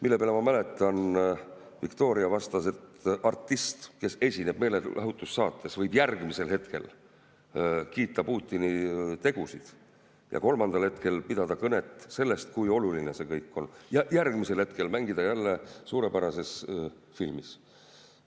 Selle peale, ma mäletan, Viktoria vastas, et artist, kes esineb meelelahutussaates, võib järgmisel hetkel kiita Putini tegusid ja kolmandal hetkel pidada kõnet sellest, kui oluline see kõik on, ning järgmisel hetkel mängida jälle suurepärases filmis.